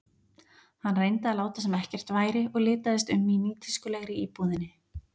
Hann reyndi að láta sem ekkert væri og litaðist um í nýtískulegri íbúðinni.